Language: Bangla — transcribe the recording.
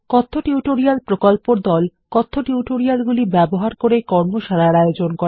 কথ্য টিউটোরিয়াল প্রকল্পর দল কথ্য টিউটোরিয়ালগুলি ব্যবহার করে কর্মশালার আয়োজন করে